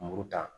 Muru ta